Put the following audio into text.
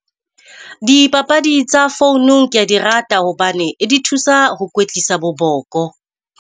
Dipapadi tsa founu ke a di rata hobane di thusa ho kwetlisa bo boko.